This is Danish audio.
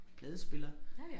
Pladespiller